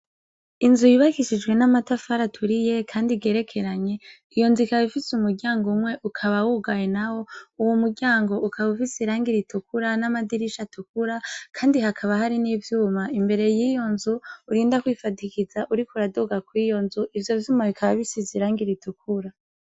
Inzu yubakishijwe n'amatafari aturiye kandi igerekeranye, iyo nzu ikaba ifise imiryango umwe, ukaba wugaye nawo. Uwo muryango ukaba ufise irangi ritukura, n'amadirisha atukura, kandi hakaba hari n'ivyuma imbere yiyo nzu, urinda kwishimikiza uriko uraduga kw'iyo nzu, ivyo vyuma bikaba bisize irangi ritukura.